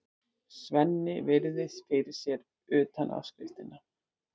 Svenni virðir fyrir sér utanáskriftina.